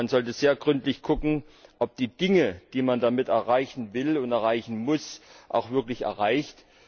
Man sollte sehr gründlich prüfen, ob man die Dinge, die man damit erreichen will und erreichen muss, auch wirklich erreicht.